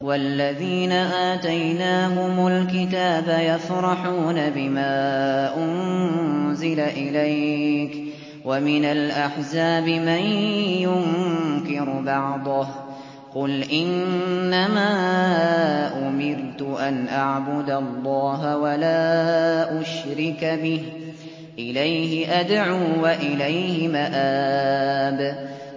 وَالَّذِينَ آتَيْنَاهُمُ الْكِتَابَ يَفْرَحُونَ بِمَا أُنزِلَ إِلَيْكَ ۖ وَمِنَ الْأَحْزَابِ مَن يُنكِرُ بَعْضَهُ ۚ قُلْ إِنَّمَا أُمِرْتُ أَنْ أَعْبُدَ اللَّهَ وَلَا أُشْرِكَ بِهِ ۚ إِلَيْهِ أَدْعُو وَإِلَيْهِ مَآبِ